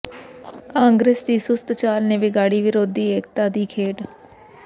ਕਾਂਗਰਸ ਦੀ ਸੁਸਤ ਚਾਲ ਨੇ ਵਿਗਾੜੀ ਵਿਰੋਧੀ ਏਕਤਾ ਦੀ ਖੇਡ